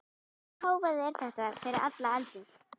Hvaða hávaði er þetta fyrir allar aldir?